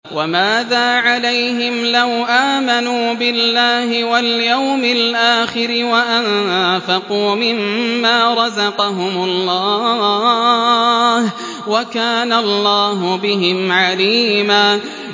وَمَاذَا عَلَيْهِمْ لَوْ آمَنُوا بِاللَّهِ وَالْيَوْمِ الْآخِرِ وَأَنفَقُوا مِمَّا رَزَقَهُمُ اللَّهُ ۚ وَكَانَ اللَّهُ بِهِمْ عَلِيمًا